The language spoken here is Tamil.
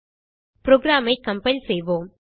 புரோகிராம் ஐ கம்பைல் செய்வோம்